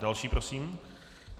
Další prosím.